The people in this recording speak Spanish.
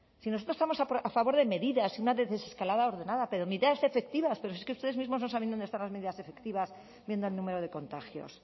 si nosotros estamos a favor de medidas y de una desescalada ordenada pero medidas efectivas pero si es que ustedes mismos no saben dónde están las medidas efectivas viendo el número de contagios